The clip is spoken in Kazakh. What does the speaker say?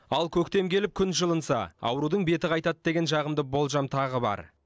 ал көктем келіп күн жылынса аурудың беті қайтады деген жағымды болжам тағы бар